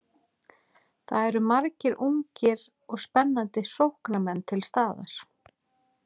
Það eru margir ungir og spennandi sóknarmenn til staðar.